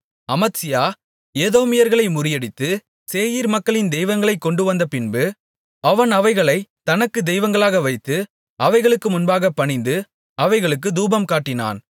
அமத்சியா ஏதோமியர்களை முறியடித்து சேயீர் மக்களின் தெய்வங்களைக் கொண்டுவந்தபின்பு அவன் அவைகளைத் தனக்கு தெய்வங்களாக வைத்து அவைகளுக்கு முன்பாகப் பணிந்து அவைகளுக்கு தூபம் காட்டினான்